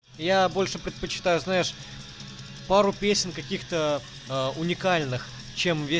я больше предпочитаю знаешь пару песен каких-то э уникальных чем ве